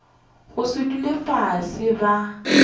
go se dule fase ba